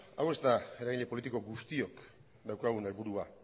hau ez da eragile politiko guztiok daukagun helburua